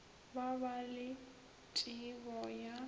ba ba le tšebo ya